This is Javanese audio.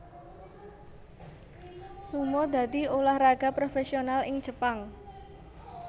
Sumo dadi ulah raga profésional ing Jepang